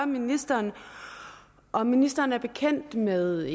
ministeren om ministeren er bekendt med